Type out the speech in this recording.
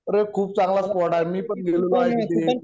अरे खूप चांगला स्पॉट आहे, मी पण गेलेलो आहे तिथे